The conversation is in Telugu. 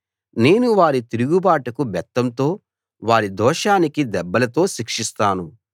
నేను వారి తిరుగుబాటుకు బెత్తంతో వారి దోషానికి దెబ్బలతో శిక్షిస్తాను